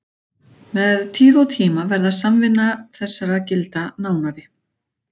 Með tíð og tíma varð samvinna þessara gilda nánari.